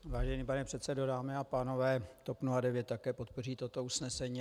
Vážený pane předsedo, dámy a pánové, TOP 09 také podpoří toto usnesení.